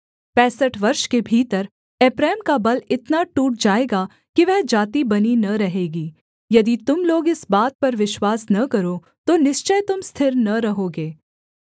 यदि तुम लोग इस बात पर विश्वास न करो तो निश्चय तुम स्थिर न रहोगे